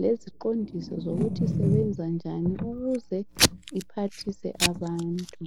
leziqondiso zokuthi isebenza njani iphathise abantu.